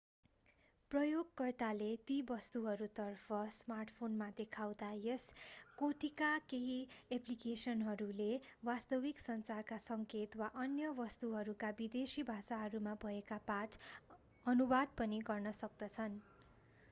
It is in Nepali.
प्रयोगकर्ताले ती वस्तुहरूतर्फ स्मार्टफोनमा देखाउँदा यस कोटिका केही एप्लिकेसनहरूले वास्तविक संसारका संकेत वा अन्य वस्तुहरूका विदेशी भाषाहरूमा भएका पाठ अनुवाद पनि गर्न सक्दछन्